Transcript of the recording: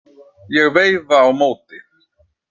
Ég veifa á móti.